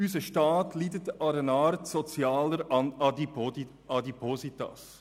Unser Staat leidet an einer Art sozialer Adipositas.